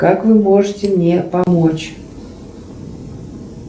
как вы можете мне помочь